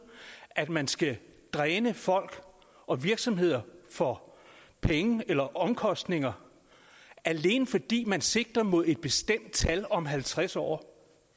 at man skal dræne folk og virksomheder for penge eller omkostninger alene fordi man sigter mod et bestemt tal om halvtreds år